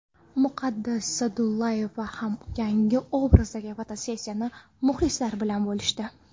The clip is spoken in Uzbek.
Muqaddas Sa’dullayeva ham yangi obrazdagi fotosessiyasini muxlislari bilan bo‘lishdi.